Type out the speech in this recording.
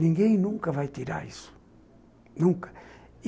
Ninguém nunca vai tirar isso, nunca.